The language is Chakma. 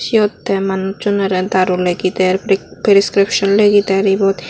siyot te manucchunorey daru legi der priscription legi der eyot.